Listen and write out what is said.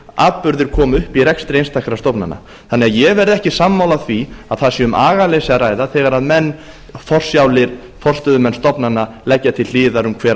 atburðir koma upp í rekstri einstakra stofnana þannig að ég verð ekki sammála því að það sé um agaleysi að ræða þegar forsjálir forstöðumenn stofnana leggja til hliðar um hver